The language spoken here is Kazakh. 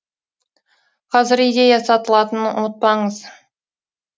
қазір идея сатылатынын ұмытпаңыз